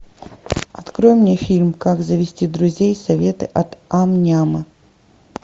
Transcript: открой мне фильм как завести друзей советы от ам няма